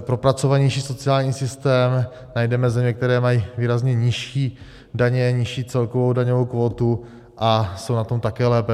propracovanější sociální systém, najdeme země, které mají výrazně nižší daně, nižší celkovou daňovou kvótu a jsou na tom také lépe.